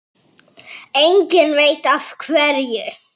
Enginn veit af hverju.